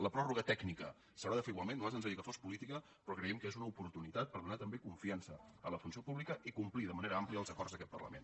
la pròrroga tècnica s’haurà de fer igualment a nosaltres ens agradaria que fos política però creiem que és una oportunitat per donar també confiança a la funció pública i complir de manera àmplia els acords d’aquest parlament